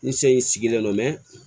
N se in sigilen don